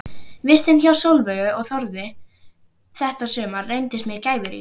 Vistin hjá Sólveigu og Þórði þetta sumar reyndist mér gæfurík.